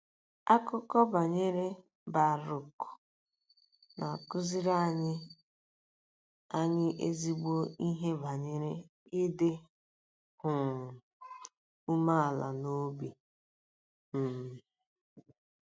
Akụkọ banyere Barụk na-akụziri anyị anyị ezigbo ihe banyere ịdị um umeala n'obi um.